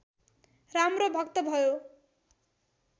राम्रो भक्त भयो